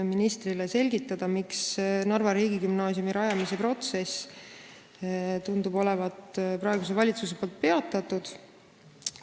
Me palusime selgitada, miks Narva riigigümnaasiumi rajamise protsess tundub olevat praeguse valitsuse poolt peatatud.